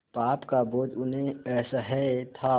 पाप का बोझ उन्हें असह्य था